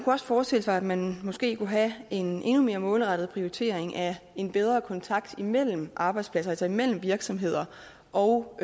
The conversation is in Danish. også forestille sig at man måske kunne have en endnu mere målrettet prioritering af en bedre kontakt imellem arbejdspladser altså imellem virksomheder og